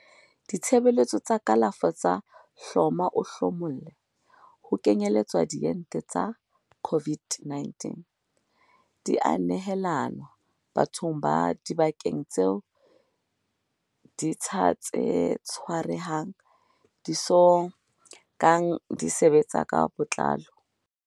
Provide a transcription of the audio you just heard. Ditshebeletso tsa kalafo tsa hloma-o-hlomolle, ho kenyeletswa diente tsa COVID-19, di a nehelanwa bathong ba dibakeng tseo ditsha tse tshwarehang di so kang di sebetsa ka botlalo.